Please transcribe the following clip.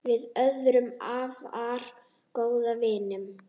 Við urðum afar góðir vinir.